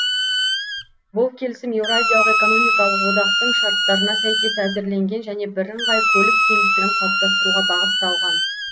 бұл келісім еуразиялық экономикалық одақтың шарттарына сәйкес әзірленген және бірыңғай көлік кеңістігін қалыптастыруға бағытталған